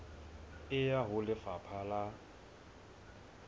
e ya ho lefapha la